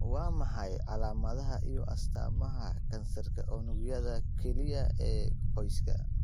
Waa maxay calaamadaha iyo astaamaha kansarka unugyada kelyaha ee qoyska?